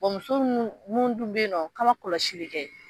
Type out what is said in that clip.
Bon muso minnu mun dun bɛ yen n'a ma kɔlɔsi kɛ